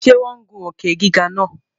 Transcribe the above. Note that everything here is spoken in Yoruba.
Ṣe wọn gùn òkè-gígà náà?